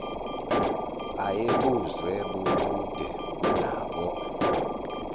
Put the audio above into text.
ayebuzwe bubude kunabo